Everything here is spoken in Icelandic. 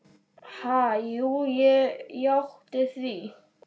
Ha, jú ég játti því.